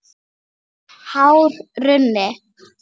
Hár runni.